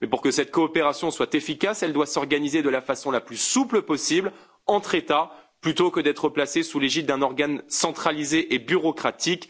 Mais pour que cette coopération soit efficace, elle doit s'organiser de la façon la plus souple possible, entre États, plutôt que d'être placée sous l'égide d'un organe centralisé et bureaucratique.